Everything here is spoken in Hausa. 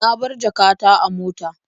Na bar jaka ta a mota.